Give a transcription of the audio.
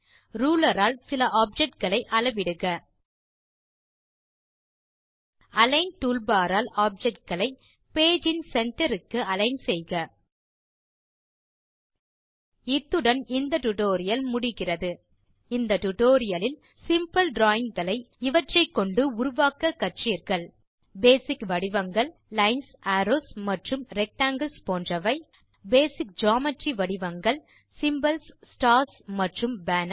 ruler all சில object களை அளவிடுக அலிக்ன் டூல்பார் ஆல் ஆப்ஜெக்ட் களை பேஜ் இன் centreக்கு அலிக்ன் செய்க இத்துடன் இந்த டியூட்டோரியல் முடிகிறது இந்த டியூட்டோரியல் லில் சிம்பிள் டிராவிங் களை இவற்றை கொண்டு உருவாக்க கற்றீர்கள் பேசிக் வடிவங்கள் லைன்ஸ் அரோவ்ஸ் மற்றும் ரெக்டாங்கில்ஸ் போன்றவை பேசிக் ஜியோமெட்ரிக் வடிவங்கள் சிம்போல்ஸ் ஸ்டார்ஸ் மற்றும் பேனர்ஸ்